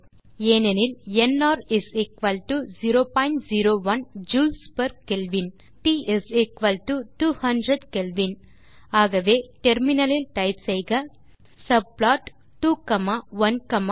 ஏனெனில் NR 001 joules per kelvin மற்றும் T 200 kelvin ஆகவே முனையத்தில் டைப் செய்க சப்ளாட் 2 காமா 1 காமா 1